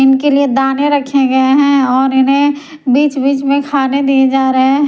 इनके लिए दाने रखे गए हैं और इन्हें बीच-बीच में खाने दिए जा रहे हैं।